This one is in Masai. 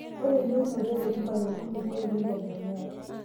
Ore eyieunoto e rutuba tenkulukuoni neitegemea;